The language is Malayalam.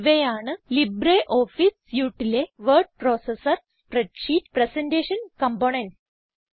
ഇവയാണ് ലിബ്രിയോഫീസ് Suiteലെ word processor spreadsheet presentation components